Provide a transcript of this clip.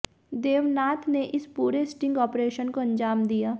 देवनाथ ने इस पूरे स्टिंग ऑपरेशन को अंजाम दिया